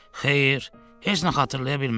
Xeyr, heç nə xatırlaya bilmədi.